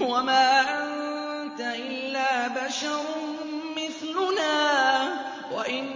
وَمَا أَنتَ إِلَّا بَشَرٌ مِّثْلُنَا وَإِن